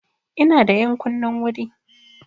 Ina da ƴankunnin wuri.